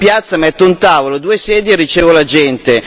In piazza metto un tavolo e due sedie e ricevo la gente.